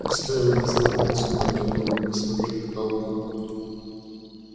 но стоило незнакомцу поднять голову и посмотреть на толпу